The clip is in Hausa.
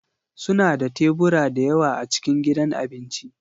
Suna da tebura da yawa a cikin gidan abinci